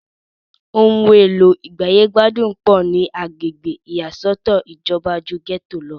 ohun èlò ìgbáyégbádùn pọ̀ ní agbègbè ìyàsọ́tọ̀ ìjọba ju gẹ́tò lọ